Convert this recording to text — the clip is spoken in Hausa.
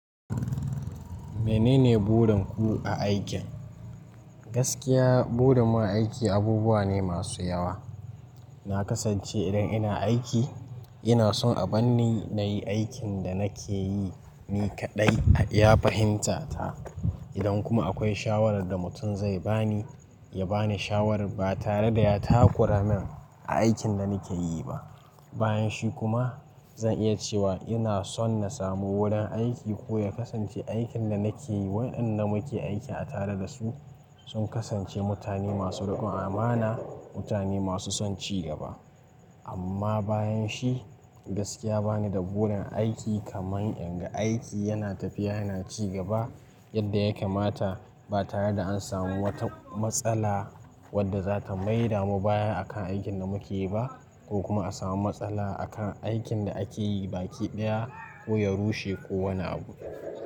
Menene burin ku a aikin? Gaskiya burin mu a aiki abubuwa ne masu yawa. Na kasance idan ina aiki, ina son a banni na yi aikin da na ke yi ni kaɗai a iya fahimta ta. Idan kuma akwai shawarar da mutum zai ba ni, ya ba ni shawarar ba tare da ya takura min a aikin da ni ke yi ba. Bayan shi kuma zan iya cewa ina son na samu wurin aiki ko ya kasance aikin da na ke yi. Waƴanda muke aiki a tare da su sun kasance mutane masu riƙon amana, mutane masu son ci gaba. Amma bayan shi, gaskiya ba ni da burin aiki kamar inga aiki yana tafiya yana ci gaba yadda ya kamata ba tare da an samu wata matsala wadda za ta maida mu baya a kan aikin da muke yi ba ko kuma a samu matsala a kan aikin da ake yi baki ɗaya ko ya rushe ko wani abu.